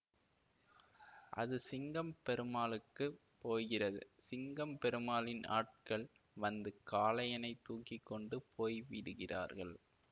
அது சிங்கம் பெருமாளுக்குப் போகிறது சிங்கம் பெருமாளின் ஆட்கள் வந்து காளையனைத் தூக்கி கொண்டு போய்விடுகிறார்கள்